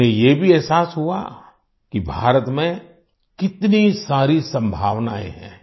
उन्हें ये भी एहसास हुआ कि भारत में कितनी सारी संभावनाएं हैं